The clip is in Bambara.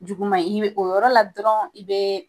Juguman in i be o yɔrɔ la dɔrɔn i bee